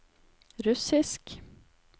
russisk